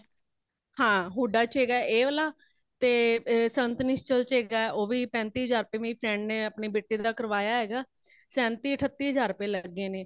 ਹਾਂ ਹੁੱਡਾ ਚ ਹੇਗਾਂ ਇਹ ਵਾਲ਼ਾ ਤੇ , ਸੰਤ ਨਿਸ਼ਚਲ ਚ ਹੇਗਾ ਉਹ ਵੀ ਪੈਂਤੀ ਹਜ਼ਾਰ ਰੁਪਇਆ , ਮੇਰੀ friend ਨੇ ਆਪਣੇ ਬੇਟੇ ਦਾ ਕਰਵਾਇਆ ਹੇਗਾ। ਸੈਂਤੀ ,ਅਠੱਤੀ ਹਜ਼ਾਰ ਰੁਪਇਆ ਲੱਗੇ ਨੇ